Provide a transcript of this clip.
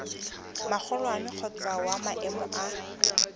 magolwane kgotsa wa maemo a